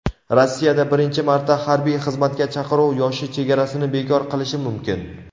Rossiyada birinchi marta harbiy xizmatga chaqiruv yoshi chegarasini bekor qilishi mumkin.